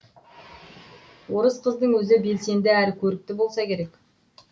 орыс қыздың өзі белсенді әрі көрікті болса керек